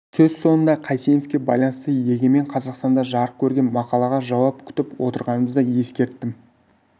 сөз соңында қайсеновке байланысты егемен қазақстанда жарық көрген мақалаға жауап күтіп отырғанымызды ескерттім